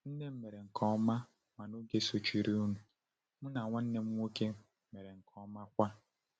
Nne m mere nke ọma, ma n’oge sochirinụ, m na nwanne m nwoke mere nke ọma kwa.